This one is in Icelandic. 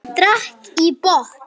Hann drakk í botn.